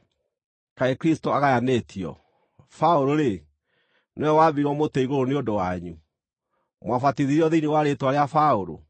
Kaĩ Kristũ agayanĩtio? Paũlũ-rĩ, nĩwe waambirwo mũtĩ igũrũ nĩ ũndũ wanyu? Mwabatithirio thĩinĩ wa rĩĩtwa rĩa Paũlũ?